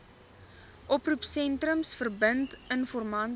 oproepsentrums verbind informante